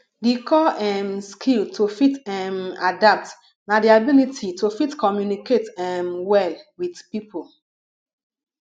di core um skill to fit um adapt na di ability to fit communicate um well with pipo